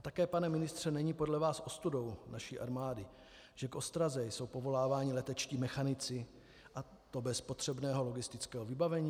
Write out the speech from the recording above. A také, pane ministře, není podle vás ostudou naší armády, že k ostraze jsou povoláváni letečtí mechanici, a to bez potřebného logistického vybavení?